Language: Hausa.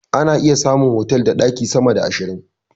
Ana iya samun otal da ɗaki sama da ashirin.